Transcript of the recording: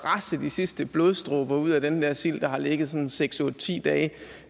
at presse de sidste blodsdråber ud af den der sild der har ligget sådan seks otte ti dage